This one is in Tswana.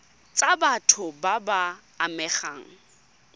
tsa batho ba ba amegang